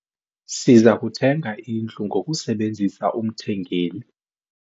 Siza kuthenga indlu ngokusebenzisa umthengeli.